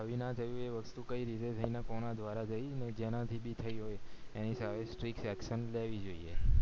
થવી ના થવી એ વસ્તુ કય રીતે થય અને કોના દ્વારા થય એ જેનાથી થય હોય એની સામે strict action લેવી જોઈએ